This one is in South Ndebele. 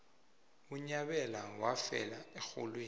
unyabela wafela erholweni